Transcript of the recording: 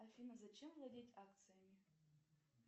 афина зачем владеть акциями